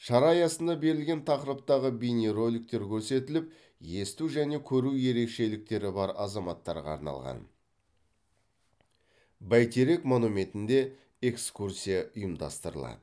шара аясында берілген тақырыптағы бейнероликтер көрсетіліп есту және көру ерекшеліктері бар азаматтарға арналған бәйтерек монументінде экскурсия ұйымдастырылады